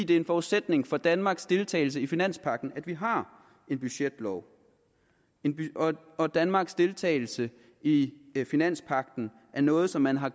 det er en forudsætning for danmarks deltagelse i finanspagten at vi har en budgetlov danmarks deltagelse i finanspagten er noget som man har